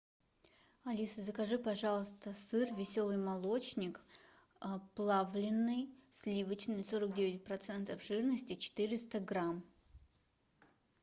алиса закажи пожалуйста сыр веселый молочник плавленный сливочный сорок девять процентов жирности четыреста грамм